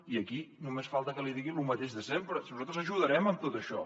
i aquí només falta que li digui el mateix de sempre nosaltres ajudarem en tot això